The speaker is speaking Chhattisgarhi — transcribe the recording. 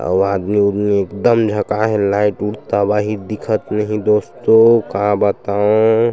और आदमी उदमी एकदम झकाये लाइट उठ तबाही दिखत नहीं दोस्तों का बताओं --